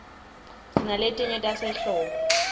sinaletinye tasehlobo